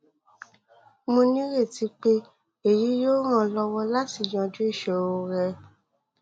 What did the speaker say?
mo nireti pé èyí yóò ràn ọ lọwọ láti yanjú ìṣòro rẹ